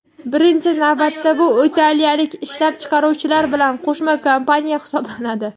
birinchi navbatda bu italiyalik ishlab chiqaruvchilar bilan qo‘shma kompaniya hisoblanadi.